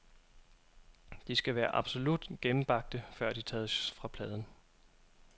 De skal være absolut gennembagte, før de tages fra pladen.